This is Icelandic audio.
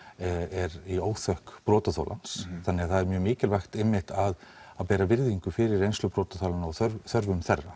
er í óþökk brotaþolans þannig að það er mjög mikilvægt einmitt að bera virðingu fyrir reynslu brotaþolanna og þörfum þeirra